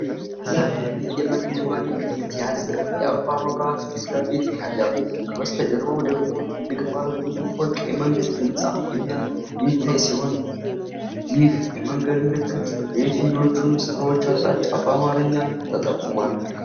ሰማያዊ የመንገድ መሪ ምልክት የያዘ የአበባ መብራት ፊት ለፊት ይታያል። ከበስተጀርባው ደግሞ ትልቅ ባለብዙ ፎቅ የመንግሥት ሕንፃ የሚታይ ሲሆን። ይህ የመንገድ ምልክት ለየትኞቹ ስፍራዎች አቅጣጫ በአማርኛ ተጠቅሟል?